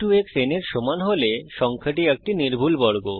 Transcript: x x n এর সমান হলে সংখ্যাটি একটি নির্ভুল বর্গ